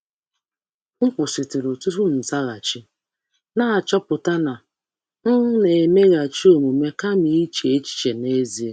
M kwụsịrị um tupu m azaghachi, n’ịghọta na m na-emeghachi omume kama um iche echiche um n’ezie.